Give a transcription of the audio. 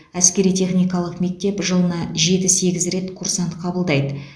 әскери техникалық мектеп жылына жеті сегіз рет курсант қабылдайды